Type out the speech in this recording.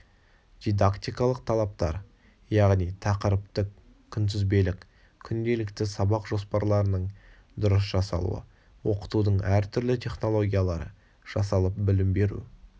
дидактикалық талаптар яғни тақырыптық-күнтізбелік күнделікті сабақ жоспарларының дұрыс жасалуы оқытудың әр түрлі технологиялары жасалып білім беру